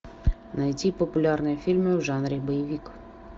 найти популярные фильмы в жанре боевик